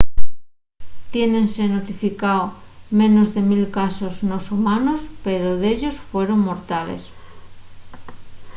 tiénense notificao menos de mil casos nos humanos pero dellos fueron mortales